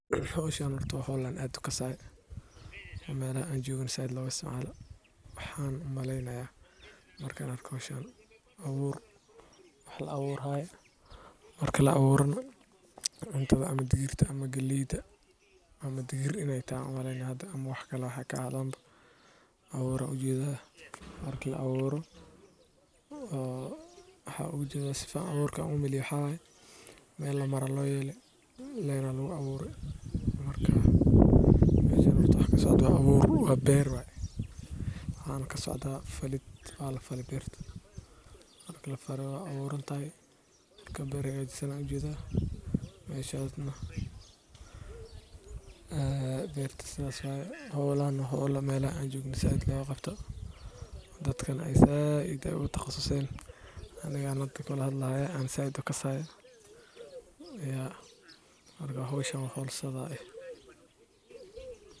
howshan horta wa howl aan zaid ukasayo oo melaxa aan jogo na zaid loga isticmalo waxan umalenaya markan arko howshan abuur wax lacaburayo marki lacaburo na cuntada ama digirta ama gileyda ama digir iney taxay umalena hatha ama waxkale aaxadan bo abuur ban ujeda marki lacaburo saan umaleye meel lamaro aya loyele mel aya lagucabure marka meshan horta waxa kasocdo wa beer waxa na kasocda falitan walafaley berta marka beer hagajisan ayan ujeda berta sidas waye howshan wa holw